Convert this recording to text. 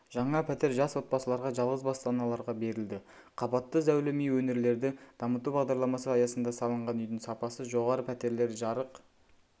жаңа пәтер жас отбасыларға жалғыз басты аналарға берілді қабатты зәулім үй өңірлерді дамтыту бағдарламасы аясында салынған үйдің сапасы жоғары пәтерлер жарық